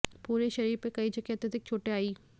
पूरे शरीर पर कई जगह अत्यधिक चोटें आयीं